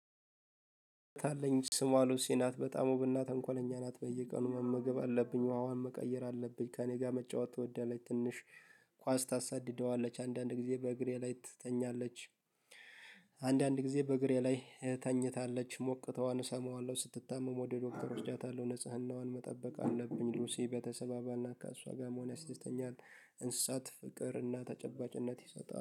አለኝ ስሟ ሎሲ ናት በጣም ውብና ተንኮለኝ ናት በየቀኑ መመገብ አለብኝ ውሃዋን መቀየር አለብኝ። ከእኔ ጋር መጫወት ትወዳለች ትንሽ ኳስ ታሳድደዋለች አንዳንድ ጊዜ በእግሬ ላይ ትተኛለች። አንዳንድ ጊዜ በእግሬ ላይ ተኝታለች ሞቅታዋን እሰማዋለሁ ስትታመም ወደ ዶክተር ወስዳታለሁ። ንጽህናዋን መጠበቅ አለብኝ ሉሲ በተሰባባልና ከሷ ጋር መሆን ያስተስተኛል። እንስሳት ፍቅርና ተጨባጭነት ይሰጣል